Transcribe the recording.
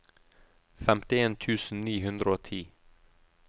femtien tusen ni hundre og ti